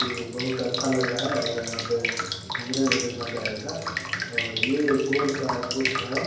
ये बहुत अच्छा लग रहा है और यहाँ पे घूमने मे भी मजा आएगा और ये गोल कार कुछ है।